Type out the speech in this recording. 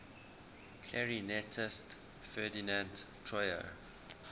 clarinetist ferdinand troyer